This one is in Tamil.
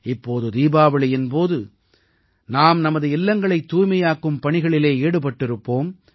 இப்போது தீபாவளியின் போது நாம் நமது இல்லங்களைத் தூய்மையாக்கும் பணிகளில் ஈடுபட்டிருப்போம்